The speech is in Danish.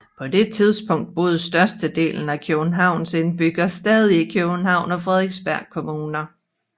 På det tidspunkt boede størstedelen af Københavns indbyggere stadig i Københavns og Frederiksberg Kommuner